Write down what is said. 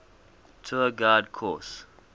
tour guide course